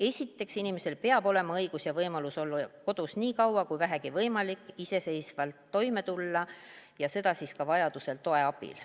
Esiteks, inimesel peab olema õigus ja võimalus olla kodus nii kaua kui vähegi võimalik, iseseisvalt toime tulla, vajadusel ka toe abil.